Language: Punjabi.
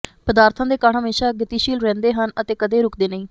ਪਦਾਰਥਾਂ ਦੇ ਕਣ ਹਮੇਸ਼ਾ ਗਤੀਸ਼ੀਲ ਰਹਿੰਦੇ ਹਨ ਅਤੇ ਕਦੇ ਰੁਕਦੇ ਨਹੀਂ